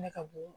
Ne ka bon